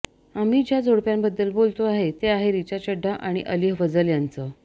आम्ही ज्या जोडप्याबद्दल बोलतोय ते आहे रिचा चढ्ढा आणि अली फजल यांचं